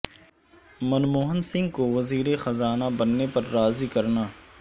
منموہن سنگھ کو وزیر خزانہ بننے پر راضی کرنا